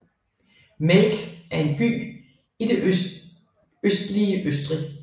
Melk er en by i det østlige Østrig